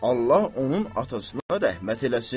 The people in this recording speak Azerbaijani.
Allah onun atasına rəhmət eləsin.